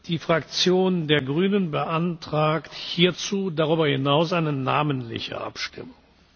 Die Fraktion der Grünen beantragt hierzu darüber hinaus eine namentliche Abstimmung.